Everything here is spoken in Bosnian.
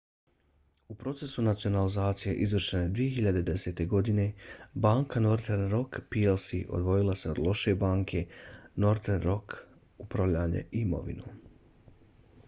u procesu nacionalizacije izvršene 2010. godine banka northern rock plc odvojila se od 'loše banke' northern rock upravljanje imovinom